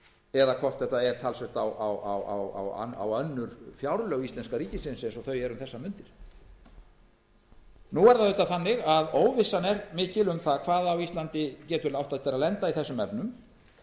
eða hvort þetta er talsvert á önnur fjárlög íslenska ríkisins eins og þau eru um þessar mundir óvissan er mikil um það hvað getur átt eftir að lenda á íslandi í þessum efnum